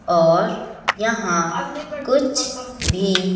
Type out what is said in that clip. और यहां कुछ भी--